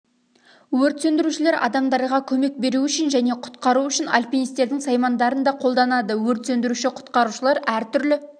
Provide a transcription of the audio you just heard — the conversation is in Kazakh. өрт сөндірушілер адамдарға көмек беру үшін және құтқару үшін алпинистердің саймандарын да қолданады өрт сөндіруші-құтқарушылар әртүрлі